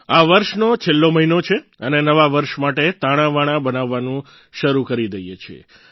આ વર્ષનો છેલ્લો મહિનો છે અને નવા વર્ષ માટે તાણાવાણાં બનાવવાનું શરૂ કરી દઈએ છીએ